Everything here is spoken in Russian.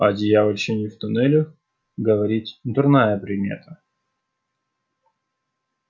о дьявольщине в туннелях говорить дурная примета